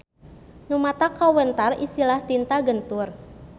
Nu matak kawentar istilah tinta gentur.